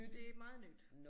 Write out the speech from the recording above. Det meget nyt